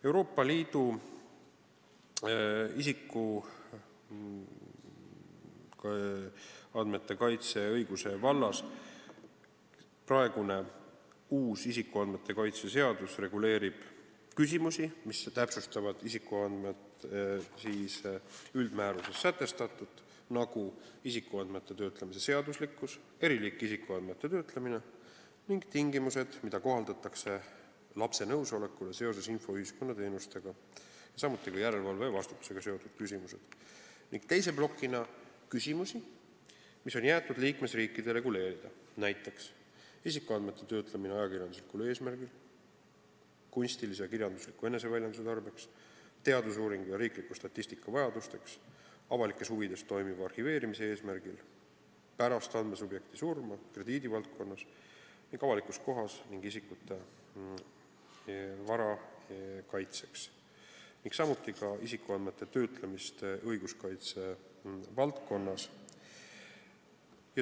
Euroopa Liidus reguleerib uus isikuandmete kaitse seadus isikuandmete kaitse vallas küsimusi, mis täpsustavad isikuandmete üldmääruses sätestatut, nagu isikuandmete töötlemise seaduslikkus, eri liiki isikuandmete töötlemine ning tingimused, mida kohaldatakse lapse nõusolekule seoses infoühiskonna teenustega, samuti järelevalve ja vastutusega seotud küsimused, ning teise plokina küsimusi, mis on jäetud liikmesriikide reguleerida, näiteks isikuandmete töötlemine ajakirjanduslikul eesmärgil, kunstilise ja kirjandusliku eneseväljenduse tarbeks, teadusuuringu ja riikliku statistika vajadusteks, avalikes huvides toimuva arhiveerimise eesmärgil, pärast andmesubjekti surma, krediidivaldkonnas ning avalikus kohas ning isikute ja vara kaitseks, samuti isikuandmete töötlemine õiguskaitse valdkonnas.